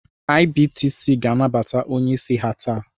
IBTC ga-anabata onye isi ha taa